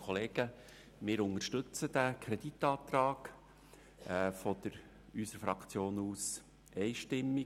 Wir unterstützen diesen Kreditantrag vonseiten der SP-JUSO-PSA-Fraktion einstimmig.